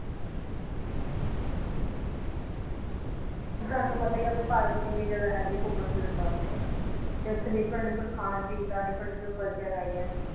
ਤੁਹਾਨੂੰ ਤਾਂ ਪਤਾ ਹੀ ਹੈ ਆਪਣੇ ਭਾਰਤ ਦੀ ਕਿੰਨੀ ਜਗ੍ਹਾ ਹੈਗੀ ਘੁੰਮਣ ਫਿਰਨ ਵਾਸਤੇ, ਤੇ ਉੱਥੇ different different ਖਾਣ ਵਾਲੀ ਚੀਜ਼ ਦਾ different different culture ਹੈਗੇ ਹੈ।